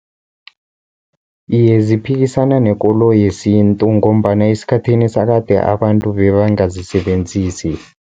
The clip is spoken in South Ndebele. Iye, ziphikisana nekolo yesintu, ngombana esikhathini sakade abantu bebangazisebenzisi.